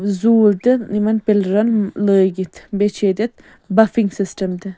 زوٗل تہِ یِمن پِلرن لٲگِتھ بیٚیہِ چُھ ییٚتٮ۪تھ بفِنگ سِسٹم .تہِ